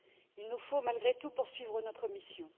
Il nous faut malgré tout poursuivre notre mission.